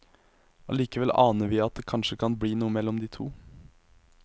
Allikevel aner vi at det kanskje kan bli noe mellom de to.